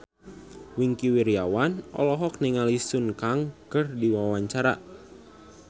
Wingky Wiryawan olohok ningali Sun Kang keur diwawancara